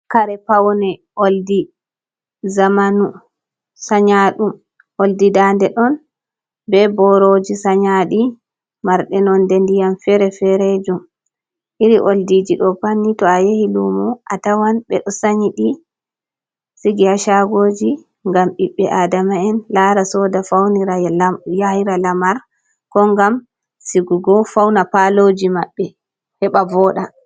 Kare pawne oldi amanu sanyaɗum oldi dande ɗon be boroji sanyadi marde nonde ndiyam fere-ferejum iri oldiji ɗo pat ni to a yahi lumu a tawan be ɗo sanyi ɗi sigi ha shagoji ngam ɓiɓɓe Adama'en lara soda faunira yahira lamar ko ngam sigugo fauna paloji maɓɓe heɓa voɗa.